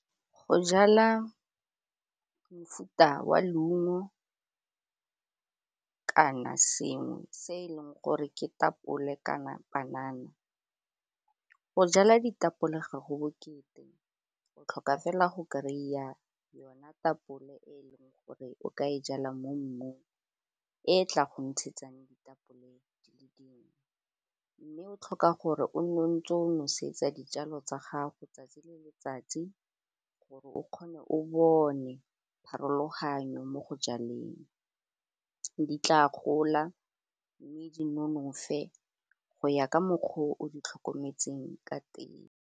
Go jala mofuta wa leungo kana sengwe se e leng gore ke tapole kana banana go jala ditapole ga go bokete o tlhoka fela go kry-a yona tapole e leng gore o ka e jala mo mmung e tla go ntshegetsang ditapole di le dingwe, mme o tlhoka gore o nne o ntse o nosetsa dijalo tsa gago tsatsi le letsatsi gore o kgone o bone pharologanyo mo go jaleng di tla gola mme di nonofe go ya ka mokgwa o di tlhokometseng ka teng.